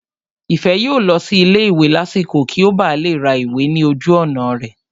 Ìfẹ́ yóò lọ sí ilé ìwé lásìkò kí ó ba lè ra ìwé ní ojú ọ̀nà rẹ̀